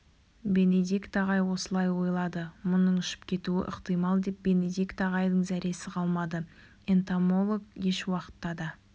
бенедикт ағай осылай ойлады мұның ұшып кетуі ықтимал деп бенедикт ағайдың зәресі қалмады энтомолог ешуақытта да